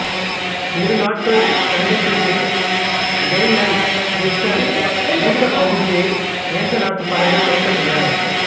இரு நாட்கள் சண்டைக்குப்பின் கெய்லென்கிர்ச்சென் வீக்கபகுதியை நேசநாட்டுப் படைகள் கைப்பற்றின